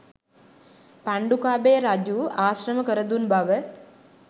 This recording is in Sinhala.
පණ්ඩුකාභය රජු ආශ්‍රම කරදුන් බව